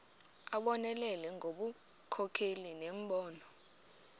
abonelele ngobunkokheli nembono